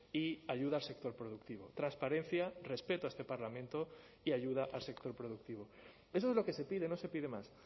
y ayuda al sector productivo transparencia respeto a este parlamento y ayuda al sector productivo eso es lo que se pide no se pide más